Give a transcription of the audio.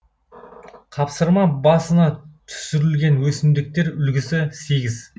қапсырма басына түсірілген өсімдіктер үлгісі сегіз